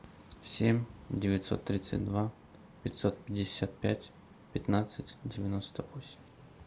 семь девятьсот тридцать два пятьсот пятьдесят пять пятнадцать девяносто восемь